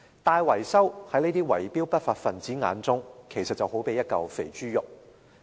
大維修在圍標的不法分子眼中，就正如一塊肥豬肉。